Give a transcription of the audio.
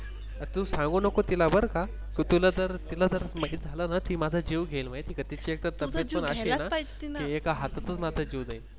तू सांगू नको तिला बर का, तुझ्या तिला जर माहीत झाल न तर माझा जीव घेईल माहीत आहे का तिची एकत्र तिबेट पण अशी आहे ना ती एका हातातच माझा जीव देईल.